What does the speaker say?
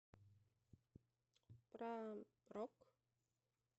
про рок